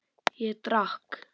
Ég drakk.